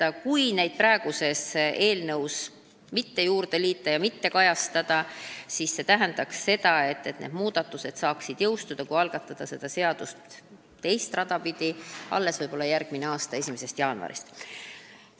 Aga kui me neid muudatusi praeguse eelnõu külge ei liida, neid seal ei kajasta ja algataksime selle seaduse teist rada pidi, siis see tähendaks seda, et need muudatused saaksid jõustuda võib-olla alles järgmise aasta 1. jaanuaril.